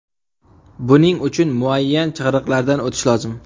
Buning uchun muayyan chig‘iriqlardan o‘tish lozim.